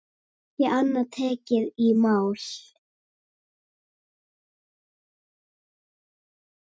Ekki annað tekið í mál.